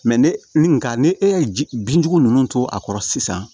ne ni nka ni e ye ji binjugu ninnu to a kɔrɔ sisan